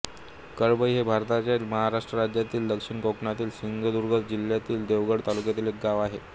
कळंबई हे भारतातील महाराष्ट्र राज्यातील दक्षिण कोकणातील सिंधुदुर्ग जिल्ह्यातील देवगड तालुक्यातील एक गाव आहे